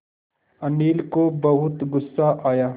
अनिल को बहुत गु़स्सा आया